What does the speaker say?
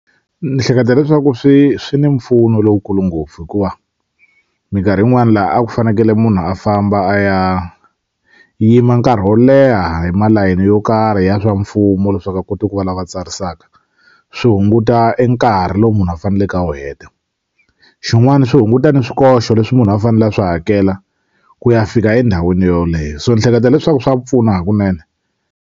Ni hleketa leswaku swi swi ni mpfuno lowukulu ngopfu hikuva mikarhi yin'wani la a ku fanekele munhu a famba a ya yima nkarhi wo leha hi malayeni yo karhi ya swa mfumo leswaku a kota ku va lava tsarisaka swi hunguta enkarhi lowu munhu a faneleke a wu heta xin'wani swi hunguta ni swikoxo leswi munhu a fanele a swi hakela ku ya fika endhawini yoleyo so ni hleketa leswaku swa pfuna hakunene.